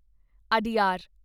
Adyar